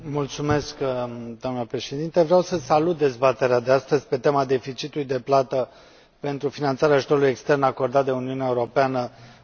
Doamnă Președintă, vreau să salut dezbaterea de astăzi pe tema deficitului de plată pentru finanțarea ajutorului extern acordat de Uniunea Europeană în acest an.